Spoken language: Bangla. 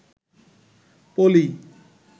পলি